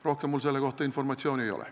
Rohkem mul selle kohta informatsiooni ei ole.